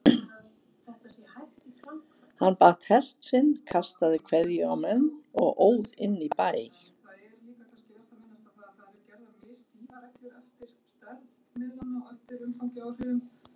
Hann batt hest sinn, kastaði kveðju á menn og óð inn í bæ.